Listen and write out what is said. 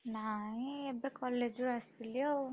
ନାଇଁ ଏବେ college ରୁ ଆସିଲି ଆଉ।